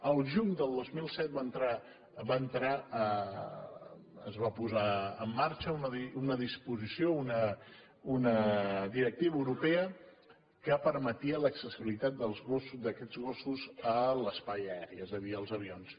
el juny del dos mil set es va posar en marxa una disposició una directiva europea que permetia l’accessibilitat d’aquests gossos a l’espai aeri és a dir als avions